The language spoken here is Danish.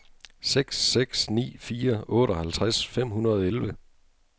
seks seks ni fire otteoghalvtreds fem hundrede og elleve